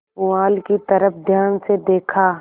पुआल की तरफ ध्यान से देखा